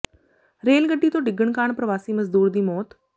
rail ਗੱਡੀ ਤੋਂ ਡਿੱਗਣ ਕਾਰਨ ਪ੍ਰਵਾਸੀ ਮਜ਼ਦੂਰ ਦੀ ਮੌਤ